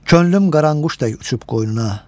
Könlüm qaranquş tək uçub qoynuna.